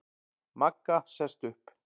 Magga sest upp.